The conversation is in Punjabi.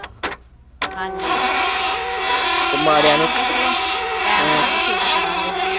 ਹਾਂਜੀ ਤੇ ਤੇ ਟਾਈਮ ਪਾ ਕੇ ਫੇਰ ਈ ਕਰਾਂਗੇ।